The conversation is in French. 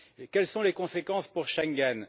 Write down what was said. Quelles sont les conséquences pour Schengen?